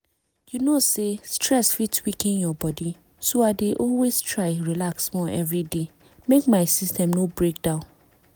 you know say stress fit weaken your body so i dey always try relax small every day make my system no break down